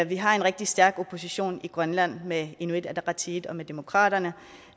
vi har en rigtig stærk opposition i grønland med inuit ataqatigiit og med demokraterne